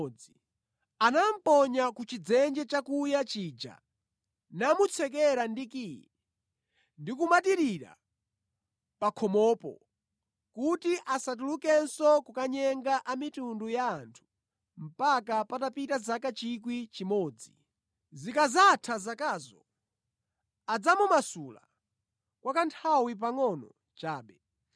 Anamuponya ku chidzenje chakuya chija namutsekera ndi kiyi ndi kumatirira pa khomopo kuti asatulukenso kukanyenga mitundu ya anthu mpaka patapita zaka 1,000. Zikadzatha zakazo, adzamumasula kwa kanthawi pangʼono chabe.